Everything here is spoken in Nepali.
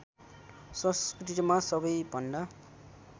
संस्कृतिमा सबैभन्दा